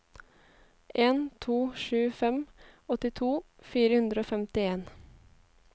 en to sju fem åttito fire hundre og femtien